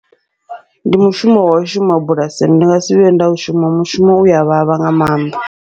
Ndi mushumo wau shuma bulasini, ndi ngasi vhuye nda u shuma mushumo uya vhavha nga maanḓa.